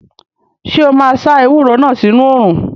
Ṣé o máa sá ewúro náà sínu òrùn?